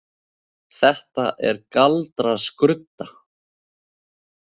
Þetta er galdraskrudda.